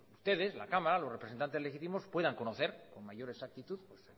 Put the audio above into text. ustedes la cámara los representantes legítimos puedan conocer con mayor exactitud